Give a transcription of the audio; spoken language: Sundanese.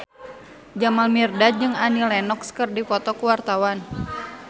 Jamal Mirdad jeung Annie Lenox keur dipoto ku wartawan